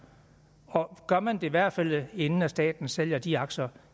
og gør man i hvert fald inden staten sælger de aktier